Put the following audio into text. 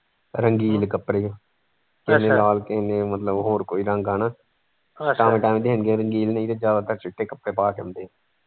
ਰੰਘੀਨ ਕੱਪੜੇ ਮਤਲਬ ਹੋਰ ਕੋਈ ਰੰਗ ਟਾਂਵੇ ਟਾਂਵੇ ਜਿਹੇ ਹੁੰਦੇ ਰੰਗੀਨ ਨਹੀਂ ਤੇ ਜਿਆਦਾਤਰ ਚਿੱਟੇ ਕੱਪੜੇ ਪਾ ਕੇ ਅਉਂਦੇ ਹੈ।